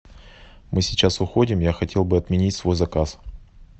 мы сейчас уходим я хотел бы отменить свой заказ